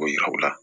K'o yira u la